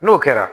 N'o kɛra